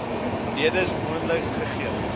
redes mondeliks gegee